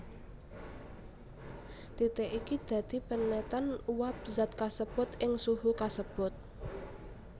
Titik iki dadi penetan uwab zat kasebut ing suhu kasebut